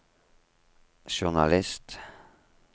journalist